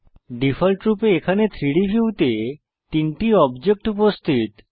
ডিফল্টরূপে এখানে 3ডি ভিউতে তিনটি অবজেক্ট উপস্থিত